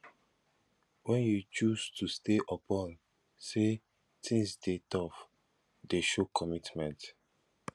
wen you choose to stay upon sey tins dey tough dey show commitment